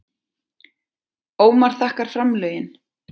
Ómar þakkar framlögin